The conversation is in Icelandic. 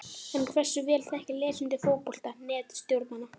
En hversu vel þekkja lesendur Fótbolta.net stjórana?